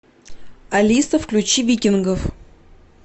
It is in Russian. алиса включи викингов